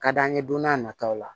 Ka d'an ye don n'a nataw la